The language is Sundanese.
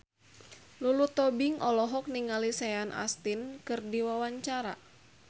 Lulu Tobing olohok ningali Sean Astin keur diwawancara